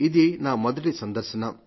ఇది నా మొదటి సందర్శన